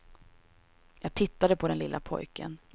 Jag tittade på den lille pojken.